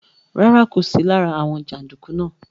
Rárá, kò sí lára àwọn jàǹdùkú náà.